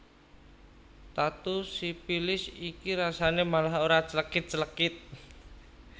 Tatu sipilis iki rasane malah ora clekit clekit